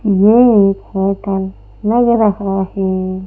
ये एक होटल लग रहा है।